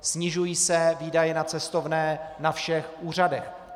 Snižují se výdaje na cestovné na všech úřadech.